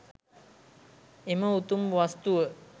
එම උතුම් වස්තුව